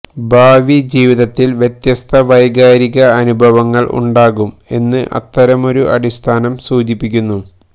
ഭാവിജീവിതത്തിൽ വ്യത്യസ്ത വൈകാരിക അനുഭവങ്ങൾ ഉണ്ടാകും എന്ന് അത്തരമൊരു അടിസ്ഥാനം സൂചിപ്പിക്കുന്നു